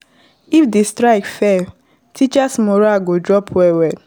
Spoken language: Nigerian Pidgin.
if di strike fail, teachers morale go drop well well